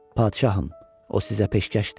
Padişahım, o sizə peşkəşdir.